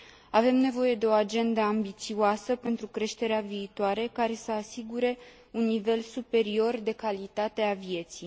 Avem nevoie de o agendă ambițioasă pentru creșterea viitoare, care să asigure un nivel superior de calitate a vieții